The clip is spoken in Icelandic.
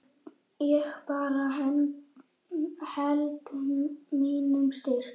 Ég bara held mínu striki.